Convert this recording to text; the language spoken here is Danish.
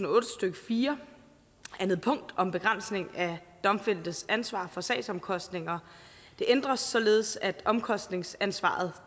og otte stykke fire anden punkt om begrænsning af domfældtes ansvar for sagsomkostninger ændres således at omkostningsansvaret